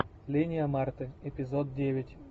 линия марты эпизод девять